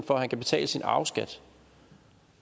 for at man kan betale sin arveskat